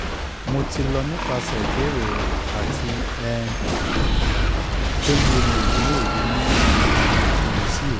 mo ti lọ nipasẹ ibeere rẹ ati um pe mo le ni oye awọn ifiyesi rẹ